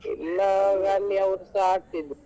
ಇಲ್ಲಾ ಅವರುಸ ಆಡ್ತಿದ್ರು.